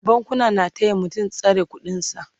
bankuna na taya mutum tsare ƙuɗin sa